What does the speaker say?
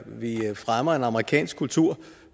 vi fremmer en amerikansk kultur